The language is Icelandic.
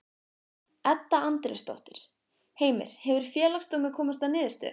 Edda Andrésdóttir: Heimir, hefur Félagsdómur komist að niðurstöðu?